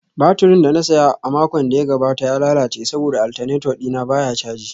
Baturin da na saya a makon da ya gabata ya lalace saboda alternator dina baya caji